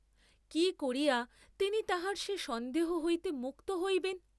কি করিয়া তিনি তাঁহার সে সন্দেহ হইতে মুক্ত হইবেন?